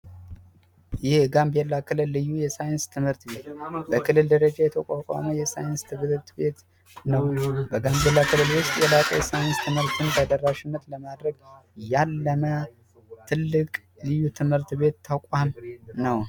የጋምቤላ ክልል የሳይንስ ትምህርት ክፍል በክልል ደረጃ የተቋቋመ ትምህርት ቤት ሳይንስ ትምህርትን ተደራሽነት ለማድረግ የተቋቋመ ልዩ ትምህርት ቤት ተቋም ነው።